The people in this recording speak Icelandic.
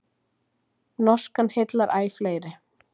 Norskan heillar æ fleiri